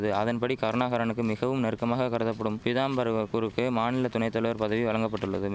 அதன்படி கருணாகரனுக்கு மிகவும் நெருக்கமாக கருதபடும் பிதாம்பரவகுறுக்கு மாநில துணைதலைவர் பதவி வலங்கபட்டுள்ளது